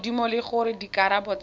godimo le gore dikarabo tsa